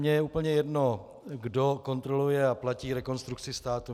Mně je úplně jedno, kdo kontroluje a platí Rekonstrukci státu.